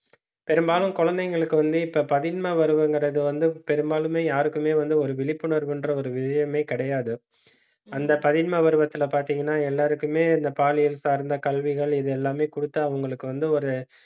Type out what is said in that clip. பெரும்பாலும் குழந்தைங்களுக்கு வந்து, இப்ப பதின்ம பருவங்கிறது வந்து பெரும்பாலுமே யாருக்குமே வந்து ஒரு விழிப்புணர்வுன்ற ஒரு விஷயமே கிடையாது. அந்த பதின்ம பருவத்துல பார்த்தீங்கன்னா எல்லாருக்குமே இந்த பாலியல் சார்ந்த கல்விகள் இது எல்லாமே கொடுத்து அவங்களுக்கு வந்து ஒரு